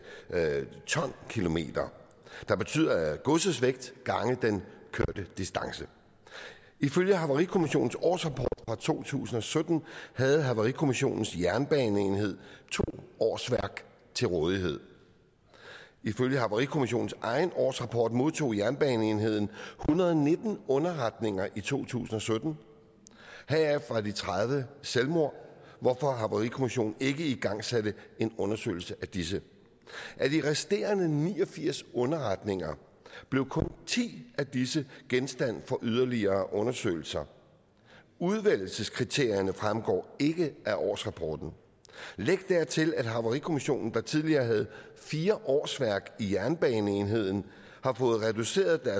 ton kilometer der betyder godsets vægt gange den kørte distance ifølge havarikommissionens årsrapport for to tusind og sytten havde havarikommissionens jernbaneenhed to årsværk til rådighed ifølge havarikommissionens egen årsrapport modtog jernbaneenheden hundrede og nitten underretninger i to tusind og sytten heraf var de tredive selvmord hvorfor havarikommissionen ikke igangsatte en undersøgelse af disse af de resterende ni og firs underretninger blev kun ti af disse genstand for yderligere undersøgelser udvælgelseskriterierne fremgår ikke af årsrapporten læg dertil at havarikommissionen der tidligere havde fire årsværk i jernbaneenheden har fået reduceret